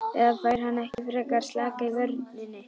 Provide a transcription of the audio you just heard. Eða fær hann ekki frekar að slaka á í vörninni?